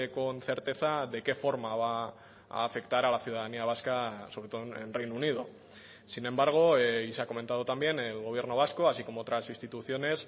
con certeza de qué forma va a afectar a la ciudadanía vasca sobre todo en reino unido sin embargo y se ha comentado también el gobierno vasco así como otras instituciones